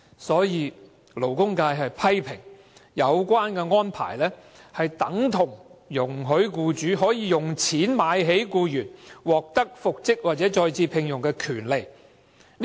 所以，勞工界批評這安排等同容許僱主用錢"買起"僱員獲得復職或再次聘用的權利。